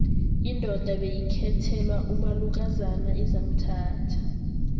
indoda beyikhethelwa umalukozana ezamthatha